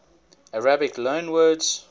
arabic loanwords